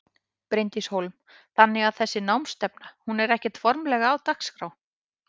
Bryndís Hólm: Þannig að þessi námsstefna hún er ekkert formlegra á dagskrá?